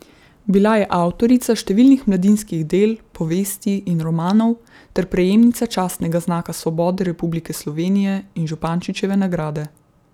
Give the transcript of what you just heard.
Bila je avtorica številnih mladinskih del, povesti in romanov ter prejemnica častnega znaka svobode Republike Slovenije in Župančičeve nagrade.